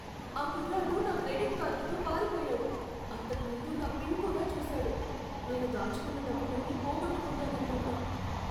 ఆ కుర్రాడు నా క్రెడిట్ కార్డుతో పారిపోయాడు. అంతకు ముందు నా పిన్ కూడా చూశాడు. నేను దాచుకున్న డబ్బులన్నీ పోగొట్టుకుంటాననుకుంటా.